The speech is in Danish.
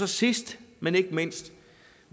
sidst men ikke mindst